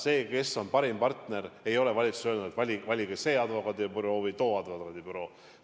Seda, kes on parim partner, ei ole valitsus öelnud – ei ole öelnud, et valige see või too advokaadibüroo.